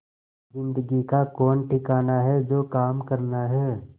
जिंदगी का कौन ठिकाना है जो काम करना है